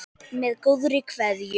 Með góðri kveðju